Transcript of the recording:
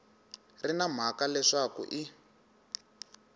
ri na mhaka leswaku i